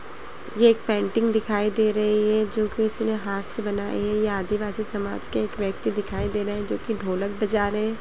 ये एक पेंटिंग दिखाई दे रही है जो किसी ने हाथ से बनाई है ये आदिवासी समाज के एक व्यक्ति दिखाई दे रहे है जो कि ढोलक बजा रहे है।